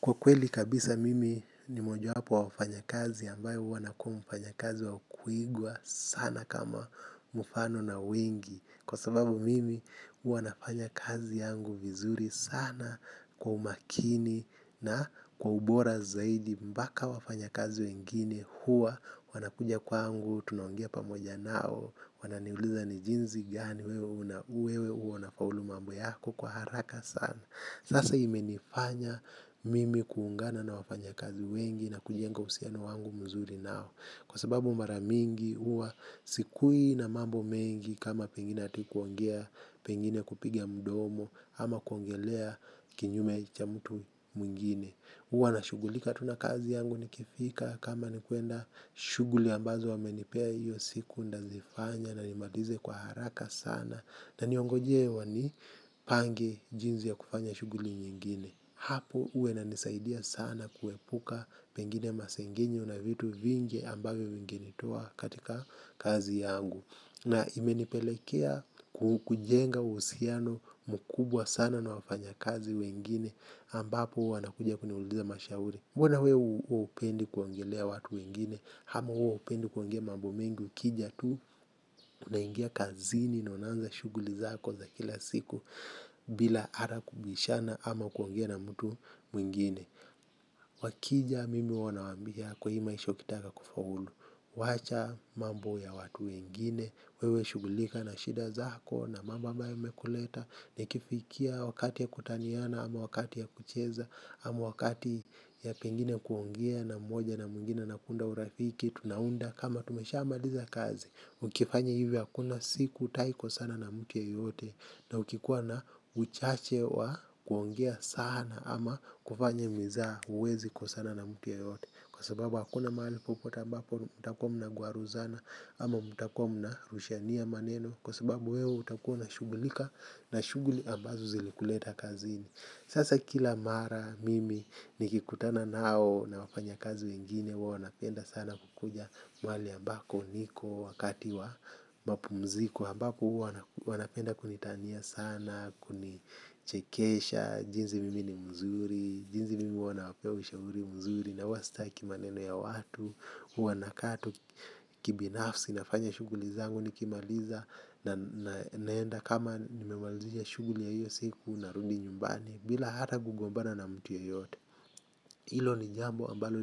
Kwa kweli kabisa mimi ni moja hapo wafanya kazi ambayo wana kuwa mfanya kazi wa kuigwa sana kama mfano na wengi. Kwa sababu mimi huwa nafanya kazi yangu vizuri sana kwa umakini na kwa ubora zaidi mbaka wafanya kazi wengine. Hua wana kuja kwangu, tuneongea pa moja nao, wananiuliza ni jinzi gani, wewe uona faulu mambo yako kwa haraka sana. Sasa imenifanya mimi kuungana na wafanya kazi wengi na kujienga usiano wangu mzuri nao. Kwa sababu maramingi uwa sikui na mambo mengi kama pengine atikuongea pengine kupiga mdomo ama kuongelea kinyume ya chamutu mwingine. Huwa nashugulika tu na kazi yangu nikifika kama ni kuenda shuguli ambazo wamenipea hiyo siku ndazifanya na nimalize kwa haraka sana. Na niongoje wani pange jinzi ya kufanya shuguli nyingine. Hapo uwa ina nisaidia sana kuepuka pengine masengenyo una vitu vingi ambavyo vinginetoa katika kazi yangu. Na imenipelekea kujenga usiano mkubwa sana na wafanya kazi wengine ambapo uwa wana kuja kuniuliza mashahuri. Mbona wewe upendi kuongelea watu wengine. Hama wewe hupendi kuongelea mambu mingi ukija tu. Unaingia kazini na unanza shuguli zako za kila siku. Bila ara kubishana ama kuongea na mtu mwingine. Wakija mimi huwa na wambia kwa hii maisha kitaka kufaulu. Wacha mambu ya watu wengine. Wewe shugulika na shida zako na mambo ambayo umekuleta. Nikifikia wakati ya kutaniana ama wakati ya kucheza amu wakati ya pengine kuongea na mmoja na mwingine na kunda urafiki. Tunaunda kama tumesha amaliza kazi. Ukifanya hivyo hakuna siku taiko sana na mutu yeyote. Na ukikuwa na uchache wa kuongea sana ama kufanya mzaa uwezi kwa sana na mutu yeyote. Kwa sababu hakuna mali popota mbapo mutakuwa mna gwaruzana. Ama mutakomu na rushania maneno. Kwa sababu wewe utakua na shugulika na shuguli ambazo zilikuleta kazini. Sasa kila mara mimi nikikutana nao na wafanya kazi wengine wa wanapenda sana kukuja mwali ambako uniko wakati wa mapumziku ambako wanapenda kunitania sana, kunichekesha, jinzi mimi ni mzuri, jinzi mimi wa wanapea ushahuri mzuri na huwa sitaki maneno ya watu, huwa nakaa tu kibinafsi nafanya shuguli zangu nikimaliza na naenda kama nimemalizisha shuguli ya hiyo siku narudi nyumbani. Bila ata kugombana na mtu ya yote. Ilo ni jambo ambalo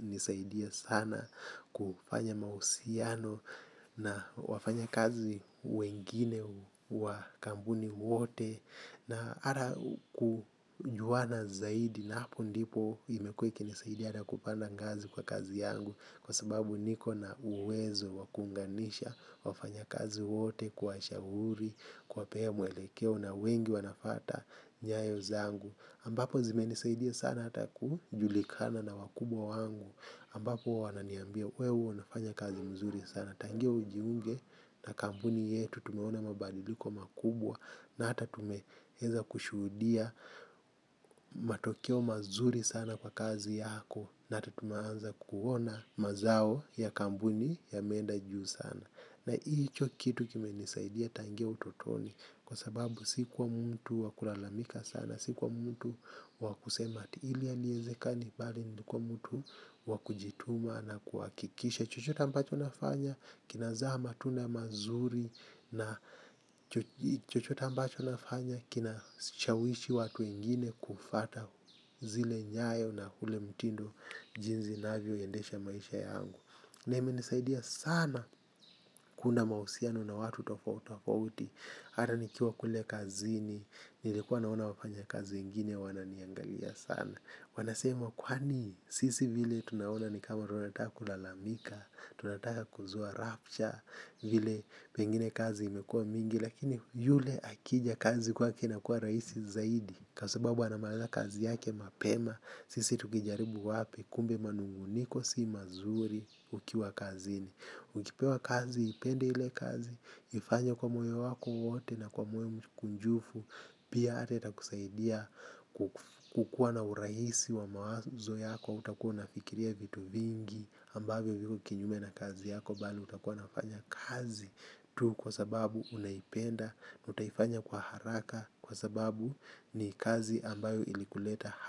nisaidia sana kufanya mausiano. Na wafanya kazi wengine wa kambuni wote na ata kujuana zaidi na hapo ndipo imekuwa ikinisaidia hala kupanda ngazi kwa kazi yangu. Kwa sababu niko na uwezo wakuunganisha wafanya kazi wote. Kwa shahuri. Kwapea mwelekeo na wengi wanafata nyayo zangu ambapo zimenisaidia sana hata kujulikana na wakubwa wangu. Ambapo wananiambia wewe unafanya kazi mzuri sana. Tangia ujiunge na kambuni yetu tumeona mabadiliko makubwa na hata tumeheza kushudia matokeo mazuri sana kwa kazi yako na hata tumeanza kuona mazao ya kambuni yamenda juu sana. Na hicho kitu kime isaidia tangia utotoni kwa sababu sikuwa mtu wakulalamika sana, sikuwa mtu wakusema ati ili haliezekani bali nikuwa mtu wakujituma na kuwakikisha. Chochote ambacho nafanya kinazaa matunda mazuri na chochote ambacho nafanya kinashawishi watu wengine kufuata zile nyayo na zile mtindo jinsi inavyoendesha maisha yangu. Na ime nisaidia sana kunda mausiano na watu tofaut wa uti. Hata nikiwa kule kazi ni nilikuwa naona wafanya kazi wengine wananiangalia sana. Wanasema kwani sisi vile tunaona ni kama tunataka kulalamika. Tunataka kuzua rapture vile pengine kazi imekua mingi. Lakini yule akija kazi kwaki na kuwa raisi zaidi. Kasababu anamaliza kazi yake mapema. Sisi tukijaribu wapi kumbe manunguniko si mazuri ukiwa kazini. Ukipewa kazi, ipende hile kazi, ifanya kwa moyo wako wote na kwa moyo mkunjufu, pia ata itakusaidia kukuwa na uraisi wa mawazo yako, utakuwa nuafikiria vitu vingi ambayo viko kinyume na kazi yako bali utakuwa nafanya kazi tu kwa sababu unaipenda utaifanya kwa haraka kwa sababu ni kazi ambayo ilikuleta.